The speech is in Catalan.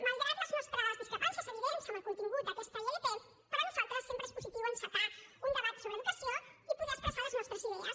malgrat les nostres discrepàncies evidents en el contingut d’aquesta ilp per nosaltres sempre és positiu encetar un debat sobre educació i poder expressar les nostres idees